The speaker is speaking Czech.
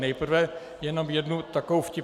Nejprve jenom jednu takovou vtipnost.